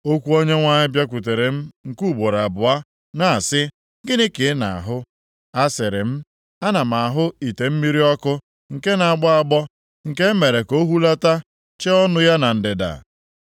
Okwu Onyenwe anyị bịakwutere m nke ugboro abụọ na-asị, “Gịnị ka ị na-ahụ?” A sịrị m, “Ana m ahụ ite mmiri ọkụ, nke na-agbọ agbọ, nke e mere ka o hulata chee ọnụ ya na ndịda.”